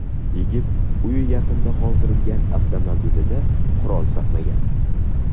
Yigit uy yaqinida qoldirgan avtomobilida qurol saqlagan.